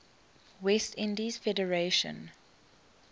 west indies federation